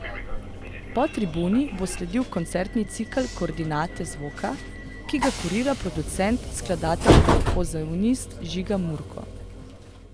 Po tribuni bo sledil koncertni cikel Koordinate zvoka, ki ga kurira producent, skladatelj ter pozavnist Žiga Murko.